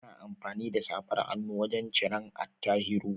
Ana amfani da safar hannun wajan ciran Attahiru